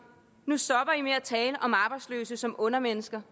nu stopper i med at tale om arbejdsløse som undermennesker